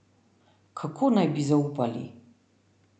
Kako naj bi zaupali?